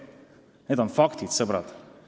Need on faktid, sõbrad!